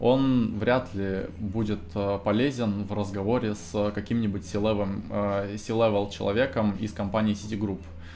он вряд ли будет полезен в разговоре с каким-нибудь силовым силам человеком из компания сити групп